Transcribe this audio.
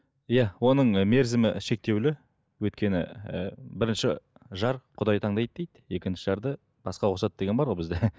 иә оның мерзімі шектеулі өйткені і бірінші жар құдай таңдайды дейді екінші жарды басқа қосады деген бар ғой бізде